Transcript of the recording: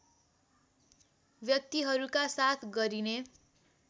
व्यक्तिहरूका साथ गरिने